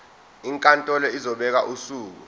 inkantolo izobeka usuku